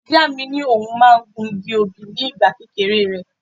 Ìyá mi ní òun máa ń gun igi obì ní ìgbà kékeré rẹ̀.